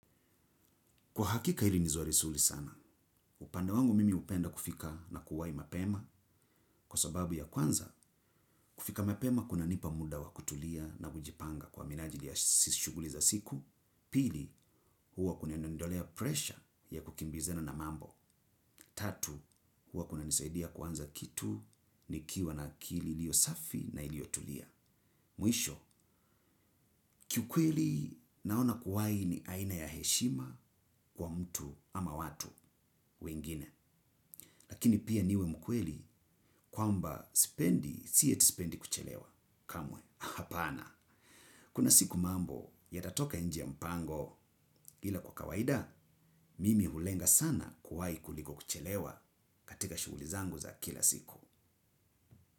Kwa hakika ili ni swari suli sana, upande wangu mimi upenda kufika na kuwai mapema kwa sababu ya kwanza kufika mapema kunanipa muda wa kutulia na kujipanga kwa minajili ya sishuguli za siku, pili huwa kuna niondolea pressure ya kukimbizina na mambo, tatu huwa kuna nisaidia kuanza kitu nikiwa na akili ilio safi na iliotulia. Mwisho, kiukweli naona kuwai ni aina ya heshima kwa mtu ama watu wengine. Lakini pia niwe mkweli kwamba sipendi si ati sipendi kuchelewa. Kamwe, hapana. Kuna siku mambo yatatoka nje ya mpango ila kwa kawaida, mimi ulenga sana kuwai kuliko kuchelewa katika shuguli zangu za kila siku.